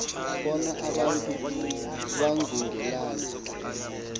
bona abantu bangungelana